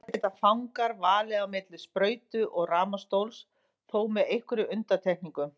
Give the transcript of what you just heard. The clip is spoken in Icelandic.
Þar geta fangar valið á milli sprautu og rafmagnsstóls, þó með einhverjum undantekningum.